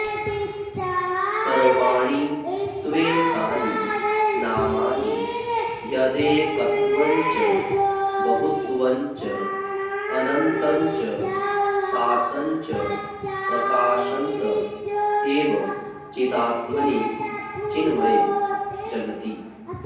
सर्वाणि त्वेतानि नामानि यदेकत्वञ्च बहुत्वञ्चानन्तञ्च सान्तञ्च प्रकाशन्त एव चिदात्मनि चिन्मये जगति